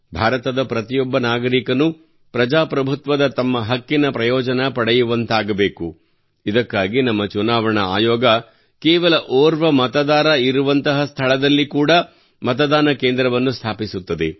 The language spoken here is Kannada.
ಭಾರತದ ಪ್ರತಿಯೊಬ್ಬ ನಾಗರಿಕನೂ ಪ್ರಜಾಪ್ರಭುತ್ವದ ತಮ್ಮ ಹಕ್ಕಿನ ಪ್ರಯೋಜನ ಪಡೆಯುವಂತಾಗಬೇಕು ಇದಕ್ಕಾಗಿ ನಮ್ಮ ಚುನಾವಣಾ ಆಯೋಗವು ಕೇವಲ ಓರ್ವ ಮತದಾನ ಇರುವಂತಹ ಸ್ಥಳಗಳಲ್ಲಿ ಕೂಡಾ ಮತಕೇಂದ್ರಗಳನ್ನು ಸ್ಥಾಪಿಸುತ್ತದೆ